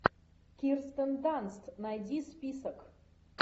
кирстен данст найди список